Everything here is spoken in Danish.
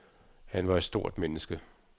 Han var et stort menneske.